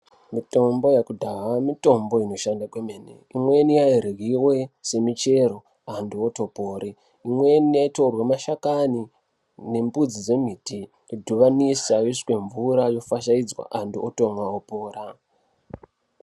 Mitombo yekudhaya mitombo inoshanda kwemeni imweni imweni yairyiwe semichero antu atopore imweni yaitorwe mashakani nembudzi dzemiti dhibanisa yoiswe mvura yofashaidzwa antu otomwa opora.